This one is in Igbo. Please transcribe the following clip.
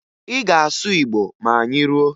Ị ga-asụ Igbo ma anyị ruo!